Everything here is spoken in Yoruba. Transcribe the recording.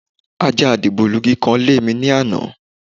Ajá dìgbòlugi kan lémi ní àná.